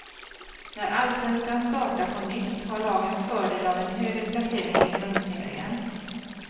När allsvenskan startar på nytt har lagen fördel av en högre placering i grundserien.